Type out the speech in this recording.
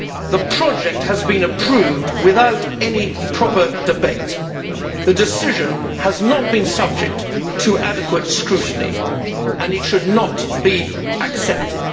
The project has been approved without any proper debate. The decision has not been subject to adequate scrutiny and it should not be accepted.